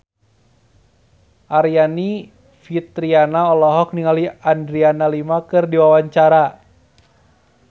Aryani Fitriana olohok ningali Adriana Lima keur diwawancara